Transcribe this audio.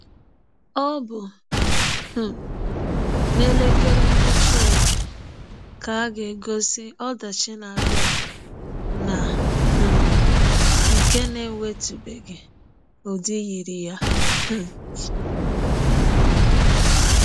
Ọ bụ um na elekere Ngwụcha ụwa ka ga-egosi ọdachi na-abịa na um nke na-enwetụbeghị ụdị yiri ya? um